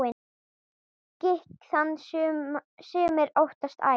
Gikk þann sumir óttast æ.